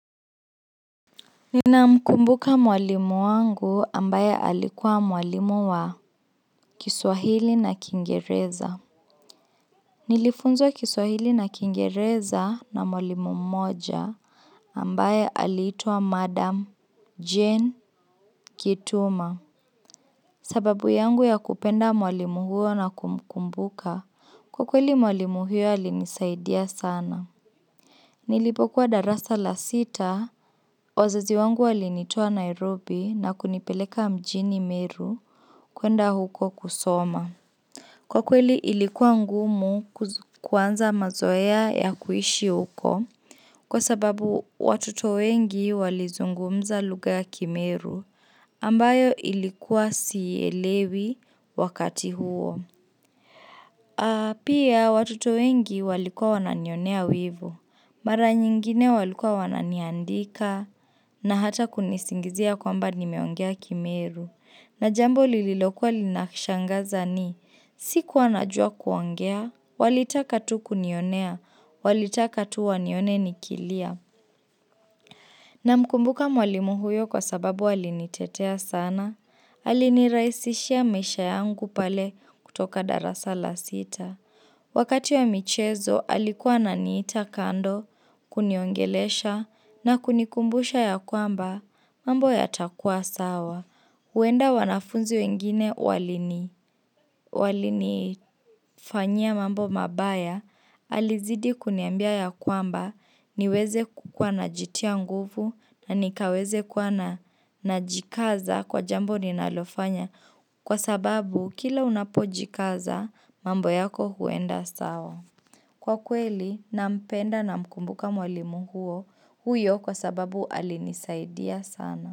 Ninamkumbuka mwalimu wangu ambaye alikuwa mwalimu wa kiswahili na kiingereza Nilifunzwa kiswahili na kiingereza na mwalimu mmoja ambaye alitwa Madam Jane Kituma sababu yangu ya kupenda mwalimu huyo na kumukumbuka kwa kweli mwalimu huyo alinisaidia sana Nilipokuwa darasa la sita, wazazi wangu walinitoa Nairobi na kunipeleka mjini meru kwenda huko kusoma. Kwa kweli ilikuwa ngumu kuanza mazoea ya kuishi huko kwa sababu watoto wengi walizungumza lugha ya kimeru ambayo ilikuwa siielewi wakati huo. Pia watoto wengi walikua wananionea wivu. Mara nyingine walikua wananiandika na hata kunisingizia kwamba nimeongea kimeru. Na jambo lililokuwa linakishangaza ni sikua najua kuongea. Walitaka tu kunionea. Walitaka tu wanione nikilia. Namkumbuka mwalimu huyo kwa sababu alinitetea sana, alinirahisishia maisha yangu pale kutoka darasa la sita. Wakati ya michezo, alikuwa ananiita kando kuniongelesha na kunikumbusha ya kwamba mambo yatakua sawa. Huenda wanafunzi wengine walinifanyia mambo mabaya alizidi kuniambia ya kwamba niweze kukua najitia nguvu na nikaweze kuwa najikaza kwa jambo ninalofanya kwa sababu kila unapojikaza mambo yako huenda sawa. Kwa kweli nampenda namkumbuka mwalimu huyo kwa sababu alinisaidia sana.